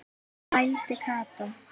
vældi Kata.